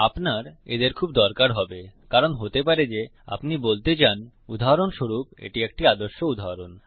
আপনার এদের খুব দরকার হবে কারণ হতে পারে যে আপনি বলতে চান উদাহরণস্বরূপ এটি একটি আদর্শ উদাহরণ